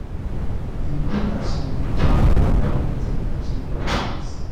e good as you dey plan how you wan take achieve your plans.